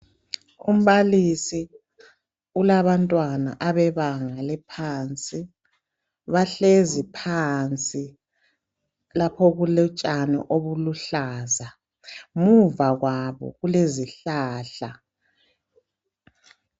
Umbalisi ulabantwana abebanga eliphansi. Bahlezi phansi lapho okulotshani obuluhlaza, muva kwabo kulezihlahla.